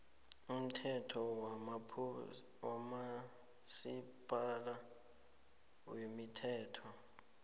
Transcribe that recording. umthetho wabomasipala wemithelo